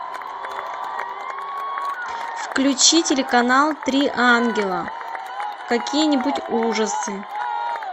включи телеканал три ангела какие нибудь ужасы